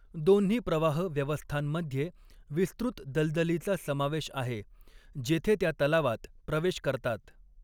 दोन्ही प्रवाह व्यवस्थांमध्ये विस्तृत दलदलीचा समावेश आहे, जेथे त्या तलावात प्रवेश करतात.